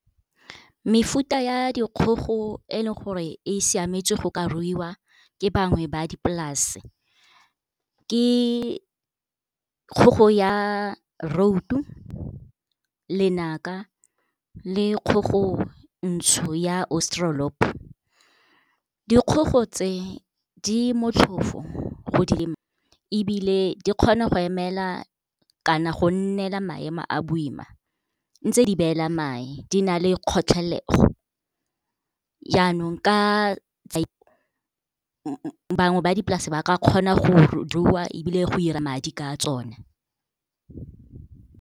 Mefuta ya dikgogo e leng gore e siametse go ka ruiwa ke bangwe ba dipolase ke kgogo ya Rhode-o, Lenaka le kgogo ntšho ya Australorp. Dikgogo tse di motlhofo ebile di kgona go emela kana go nnela maemo a boima, ntse di beela mae. Di na le kgotlhelego. Yanong ka bangwe ba dipolase ba ka kgona go di rua ebile go 'ira madi ka tsone.